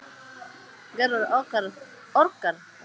Gerður orkar það eitt að reyna að vinna sitt verk.